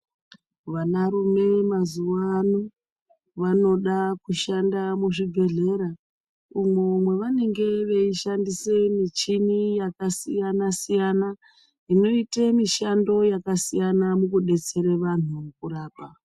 Vanarume mazuvano vanoda kushanda muzvibhehlera umwo mwanavanenge vachishandisa michini yakasiyana siyana inoita mishando yakasiyana mukudetsera vanhu kurapa.